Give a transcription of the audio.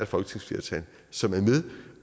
folketingsflertal som er med